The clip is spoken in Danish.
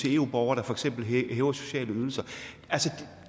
eu borgere der for eksempel hæver sociale ydelser altså